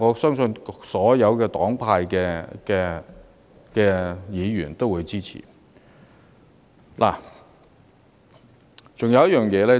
所有黨派議員對此並無異議，均會支持。